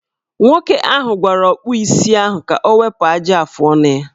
Nwoke ahụ gwara ọkpụisi ahụ ka o wepu ajị afọọnụ ya.